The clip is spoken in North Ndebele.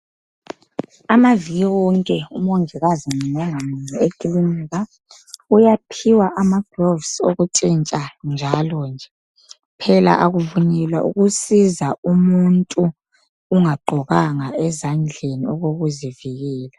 Amaviki wonke umongikazi ngamunye ngamunye ekilinika, uyaphiwa amagloves okutshintsha njalo nje. Phela akuvunyelwa ukusiza umuntu ungagqokanga ezandleni okokuzivikela.